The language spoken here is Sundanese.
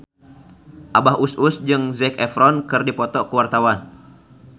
Abah Us Us jeung Zac Efron keur dipoto ku wartawan